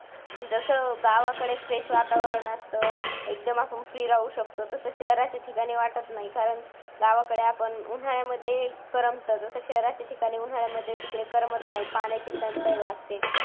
जसं गावाकडे fresh वातावरण असतं एकदम आपण free राहू शकतो तसेच शहराच्या ठिकाणी वाटत नाही कारण गावाकडे आपण उन्हाळ्यामध्ये करमत तसं शहराच्या ठिकाणी उन्हाळ्यामध्ये तिकडे करमत नाही पाण्याची टंचाई भासते.